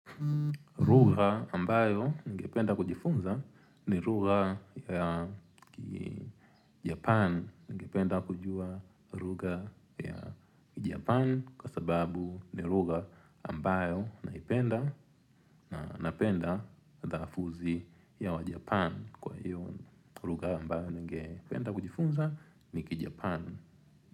Lugha ambayo ningependa kujifunza ni lugha ya Japan ningependa kujua lugha ya Japan kwa sababu ningependa ambayo naipenda na napenda lafudhi ya wajapan kwa hiyo lugha ambayo ningependa kujifunza nikijapan.